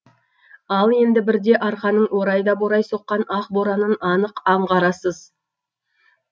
ал енді бірде арқаның орай да борай соққан ақ боранын анық аңғарасыз